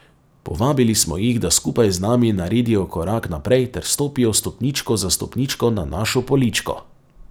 Povabili smo jih, da skupaj z nami naredijo korak naprej ter stopijo stopničko za stopničko na našo poličko.